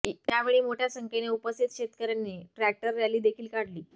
यावेळी मोठ्या संख्येने उपस्थित शेतकऱ्यांनी ट्रॅक्टर रॅली देखील काढली